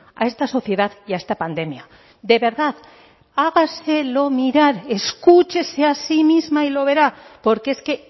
a esta sociedad y a esta pandemia de verdad hágaselo mirar escúchese a sí misma y lo verá porque es que